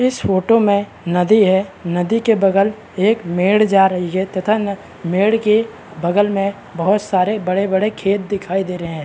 इस फोटो में नदी है नदी के बगल एक मेढ़ जा रही है तथा न मेढ़ के बगल में बहुत सारी बड़े- बड़े खेत दिखाई दे रहा है।